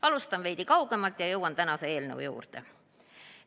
Alustan veidi kaugemalt ja jõuan ka tänase eelnõu juurde.